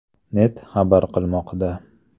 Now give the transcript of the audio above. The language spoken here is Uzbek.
net” xabar qilmoqda .